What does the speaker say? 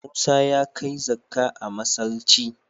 Musa ya kai zakka a masallci.